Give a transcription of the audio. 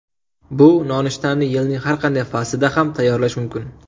Bu nonushtani yilning har qanday faslida ham tayyorlash mumkin.